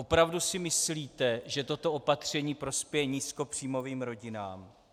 Opravdu si myslíte, že toto opatření prospěje nízkopříjmovým rodinám?